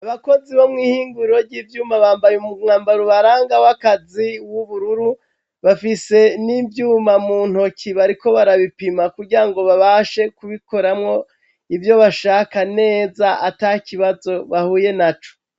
Abakozi bo mw'ihinguriro ry'ivyuma bambaye umwambaro ubaranga w'akazi w'ubururu bafise n'ivyuma muntoke bariko barabipima kugirango babashe kubikoramwo ivyo bashaka neza atakibazo bahuye naco.